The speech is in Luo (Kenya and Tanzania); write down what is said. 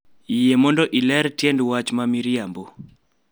yie mondo iler tiend wach ma riambo